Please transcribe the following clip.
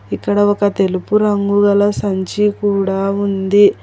ఇక్కడ ఒక తెలుపు రంగు గల సంచి కూడా ఉంది.